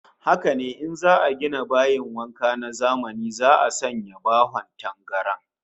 Haka ne, in za'a gina bayin wanka na zamani za'a sanya bahon tangaran